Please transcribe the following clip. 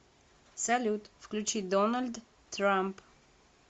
салют включи дональд трамп